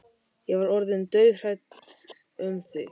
Ég var orðin dauðhrædd um þig,